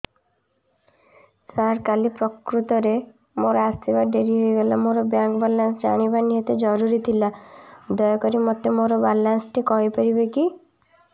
ସାର କାଲି ପ୍ରକୃତରେ ମୋର ଆସିବା ଡେରି ହେଇଗଲା ମୋର ବ୍ୟାଙ୍କ ବାଲାନ୍ସ ଜାଣିବା ନିହାତି ଜରୁରୀ ଥିଲା ଦୟାକରି ମୋତେ ମୋର ବାଲାନ୍ସ ଟି କହିପାରିବେକି